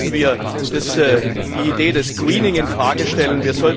Vielleicht müssen wir die Idee des greening in Frage stellen.